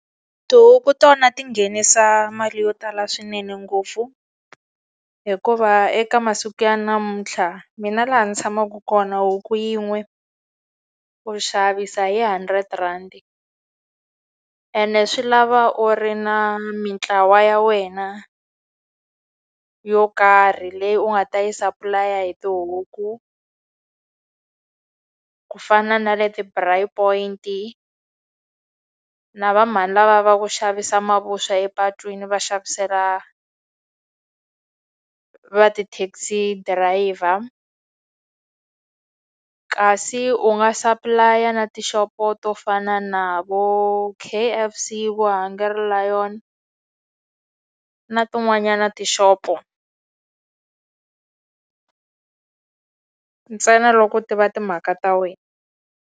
Tihuku tona ti nghenisa mali yo tala swinene ngopfu, hikuva eka masiku ya namuntlha mina laha ndzi tshamaka kona huku yin'we u xavisa hi hundred rhandi. Ene swi lava u ri na mintlawa ya wena yo karhi leyi u nga ta yi supply-a hi tihuku. Ku fana na le ti-bra point-i, na vamhani lavaya va ku xavisa mavuswa epatwini va xavisela va ti-taxi driver. Kasi u nga supply-a na tixopo to fana na vo K_F_C, vo Hungry Lion na tin'wanyana tixopo ntsena loko u tiva timhaka ta wena.